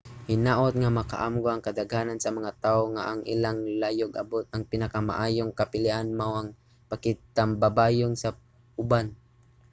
hinaut nga makaamgo ang kadaghanan sa mga tawo nga ang ilang layog-abot nga pinakamaayong kapilian mao ang pakigtambayayong sa uban